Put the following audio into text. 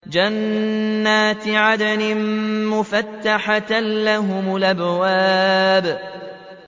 جَنَّاتِ عَدْنٍ مُّفَتَّحَةً لَّهُمُ الْأَبْوَابُ